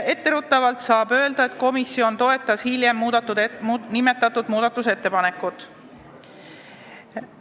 Etteruttavalt võin öelda, et komisjon toetas hiljem seda ettepanekut.